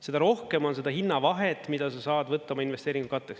Seda rohkem on seda hinnavahet, mida sa saad võtta oma investeeringute katteks.